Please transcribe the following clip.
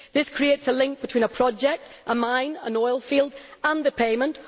This creates a link between a project, a mine or an oilfield and the payment.